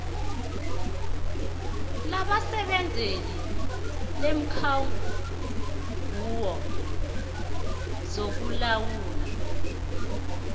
labasebenzeli leenkhungo zokulawulwa